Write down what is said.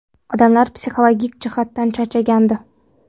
Odamlar psixologik jihatdan charchagandi.